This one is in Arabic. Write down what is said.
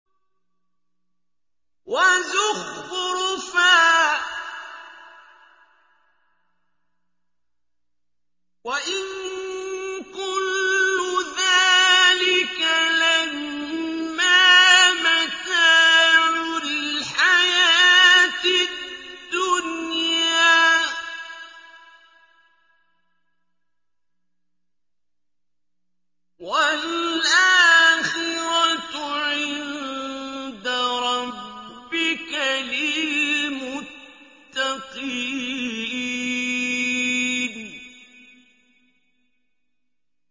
وَزُخْرُفًا ۚ وَإِن كُلُّ ذَٰلِكَ لَمَّا مَتَاعُ الْحَيَاةِ الدُّنْيَا ۚ وَالْآخِرَةُ عِندَ رَبِّكَ لِلْمُتَّقِينَ